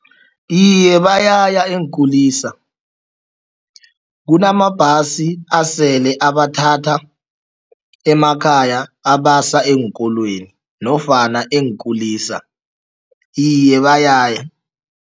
Iye, bayaya eenkulisa. Kunamabhasi asele abathatha emakhaya abasa eenkolweni nofana eenkulisa. Iye, bayaya.